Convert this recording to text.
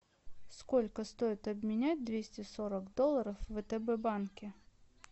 сколько стоит обменять двести сорок долларов в втб банке